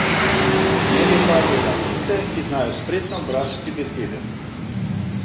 Mnoge padajo na tiste, ki znajo spretno obračati besede.